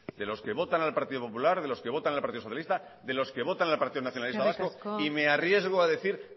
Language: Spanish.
de los que votan al partido popular de los que votan al partido socialista de los que votan al partido nacionalista vasco eskerrik asko señor oyarzabal y me arriesgo a decir